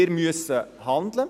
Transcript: Wir müssen handeln.